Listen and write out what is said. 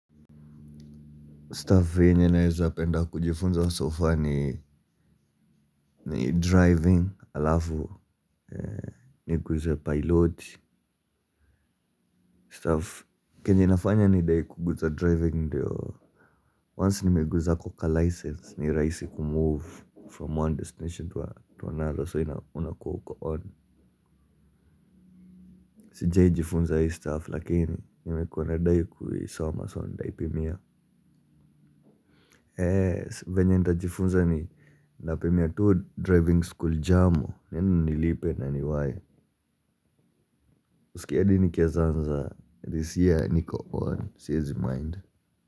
'Stuff' kwenye naweza penda kujifunza 'so far' ni 'driving' alafu niguze pilot. Stuff chenye inafanya nidai kuguza 'driving' ndio 'Once' nimeguza hako ka license ni rahisi kumove 'from one destination to another' so ina unakua uko 'on'. Sijawahi jifunza hii 'stuff' lakini nimekua nadai kuisoma so ndaipimia. Eeeh venye nitajifunza ni napimia tu 'driving school jamo' niende nilipe na niwai. Huskii hadi nikiweza anza 'This year niko on siezi mind'